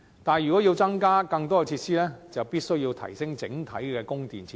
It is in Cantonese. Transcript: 但是，如果要增加更多設施，必須提升整體的供電設施。